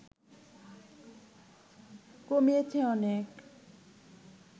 কমিয়েছে অনেক